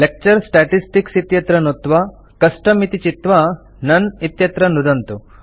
lecture statistics इत्यत्र नुत्त्वा custom इत्ति चित्वा नोने इत्यत्र नुदन्तु